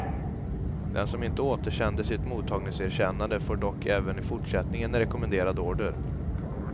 Den som inte återsänder sitt mottagningserkännande får dock även i fortsättningen en rekommenderad order.